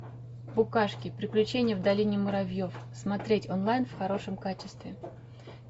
букашки приключение в долине муравьев смотреть онлайн в хорошем качестве